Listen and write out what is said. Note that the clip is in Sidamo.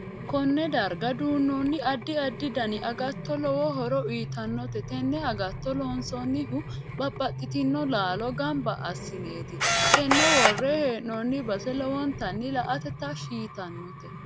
Konne darga duunooni addi addi dani agatto lowo horo uyiitanote tenne agatto loonsoonihu babbaxitino laalo ganbba asineeti tene worre heenooni base lowonata la'ate tashi yitanote